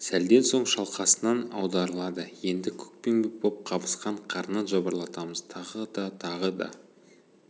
сәлден соң шалқасынан аударылады енді көкпеңбек боп қабысқан қарнын жыбырлатамыз тағы да тағы да